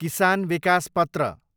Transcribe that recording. किसान विकास पत्र